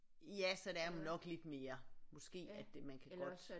Ja så der er jo nok lidt mere måske at man kan godt